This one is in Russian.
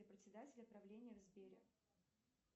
председателя правления в сбере